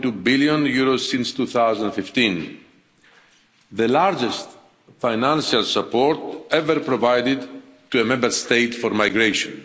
2.2 billion since 2015 the largest financial support ever provided to a Member State for migration.